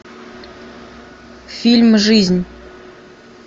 фильм жизнь